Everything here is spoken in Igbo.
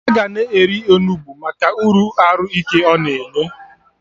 Aga na-eri Onugbu Maka uru arụ ike ọ na-enye